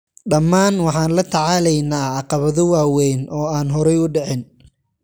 "Dhamaan waxaan la tacaalaynaa caqabado waaweyn oo aan horay u dhicin."